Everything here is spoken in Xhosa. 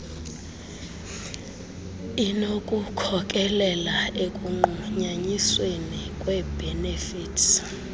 inokukhokelela ekunqunyanyisweni kweebhenefithi